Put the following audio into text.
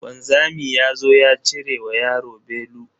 Wanzami yazo ya cire wa yaro belu.